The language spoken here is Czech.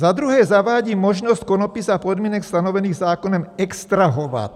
Za druhé zavádí možnost konopí za podmínek stanovených zákonem extrahovat.